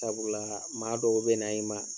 Sabula maa dɔw bɛna i ma